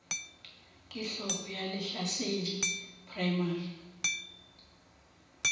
ke hlogo ya lehlasedi primary